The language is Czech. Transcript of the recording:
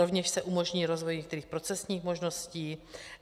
Rovněž se umožní rozvoj některých procesních možností.